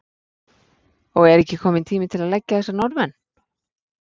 Og er ekki kominn tími til að leggja þessa Norðmenn?